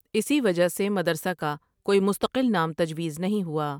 اسی وجہ سے مدرسہ کا کوئی مستقل نام تجویز نہیں ہوا ۔